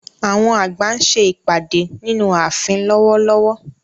Àwọn àgbà ń ṣe ìpàdé nínú ààfin lọ́wọ́lọ́wọ́.